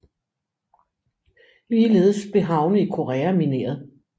Ligeledes blev havne i Korea mineret